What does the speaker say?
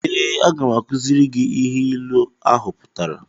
Ee, aga m akuziri gị ihe ịlu ahụ pụtara